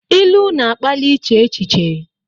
Ilu na-akpali iche echiche.